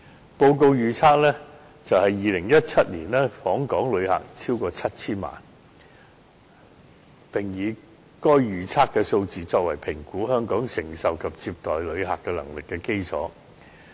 該報告預測2017年訪港旅客將超過 7,000 萬人次，並以該預測數字作為評估香港承受及接待旅客能力的基礎。